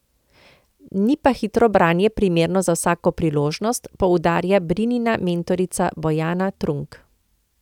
Ni pa hitro branje primerno za vsako priložnost, poudarja Brinina mentorica Bojana Trunk.